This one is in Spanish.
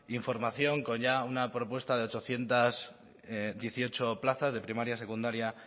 información con ya una propuesta de ochocientos dieciocho plazas de primaria secundaria